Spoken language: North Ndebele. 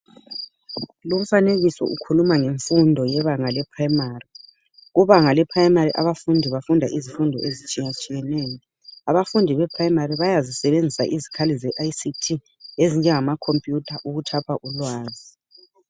Lumfanekiso ukhuluma ngemfundo yebanga le primary Kubanga le primary abafundi bafunda izifundo ezitshiyatshiyeneyo Abafundi be primary bayazisebenzisa izikhali ze ICT ezinjengama computer ukuthapha ulwazi